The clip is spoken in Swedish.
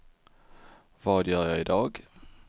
vad gör jag idag